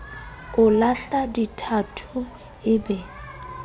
o lahla dithatho e be